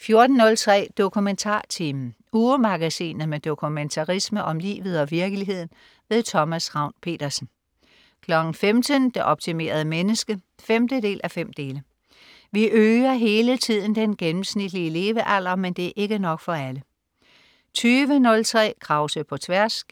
14.03 DokumentarTimen. Ugemagasinet med dokumentarisme om livet og virkeligheden. Thomas Ravn-Pedersen 15.00 Det optimerede menneske 5:5. Vi øger hele tiden den gennemsnitlige levealder, men det er ikke nok for alle 20.03 Krause på tværs*